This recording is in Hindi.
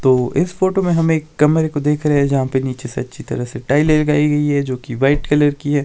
तो इस फोटो में हम एक कमरे देख रहे है जहां पे नीचे अच्छी तरह टाइल्स लगाई गई हैं जो कि व्हाईट कलर की हैं।